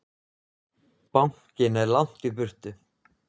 Bankinn er langt í burtu.